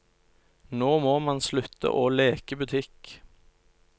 Nå må man slutte å leke butikk.